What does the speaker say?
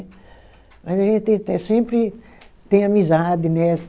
Mas a gente tem que ter sempre ter amizade, né?